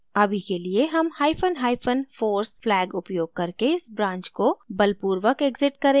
अभी के लिए हम hyphen hyphen force flag उपयोग करके इस branch को बलपूर्वक exit करेंगे